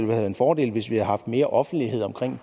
været en fordel hvis vi havde haft mere offentlighed omkring